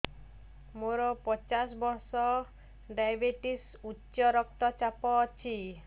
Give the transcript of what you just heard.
ମୋର ପଚାଶ ବର୍ଷ ଡାଏବେଟିସ ଉଚ୍ଚ ରକ୍ତ ଚାପ ଅଛି